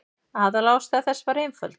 Aðalástæða þess var einföld.